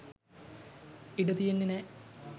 ඉඩ තියන්නෙ නැහැ